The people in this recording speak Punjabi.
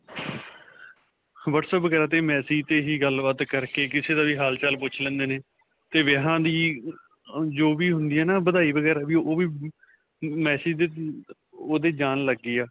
whatsapp ਵਗੈਰਾ 'ਤੇ message 'ਤੇ ਹੀ ਗੱਲ-ਬਾਤ ਕਰਕੇ ਕਿਸੇ ਦਾ ਵੀ ਹਾਲ-ਚਾਲ ਪੁੱਛ ਲੈਂਦੇ ਨੇ 'ਤੇ ਵਿਆਹਾਂ ਦੀ ਅਅ ਜੋ ਵੀ ਹੁੰਦੀ ਆ ਨਾ ਵਧਾਈ ਵਗੈਰਾ ਵੀ ਓਹ ਵੀ ਮਮ message 'ਤੇ ਓਹਦੇ ਜਾਣ ਲੱਗ ਗਈ ਆ.